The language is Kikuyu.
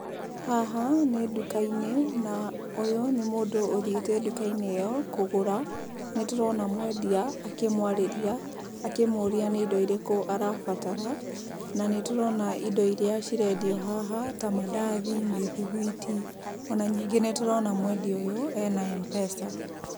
Haha nĩ nduka-inĩ, na ũyũ nĩ mũndũ ũthiĩte nduka-inĩ ĩyo kũgũra, nĩndĩrona mwendia akĩmwarĩria akĩmũria indo iria arabatara, na nĩtũrona indo iria cirendio haha, tamandathi, mĩthuguiti, ona ningĩ nĩtũrona mwendia ũyũ ena M-pesa.